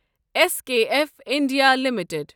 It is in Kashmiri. S KF India limited